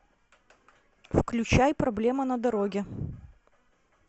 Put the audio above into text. включай проблема на дороге